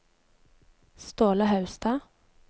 Ståle Haugstad